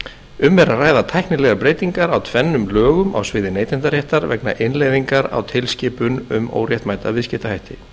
um er að ræða tæknilegar breytingar á tvennum lögum á sviði neytendaréttar vegna innleiðingar á tilskipun um óréttmæta viðskiptahætti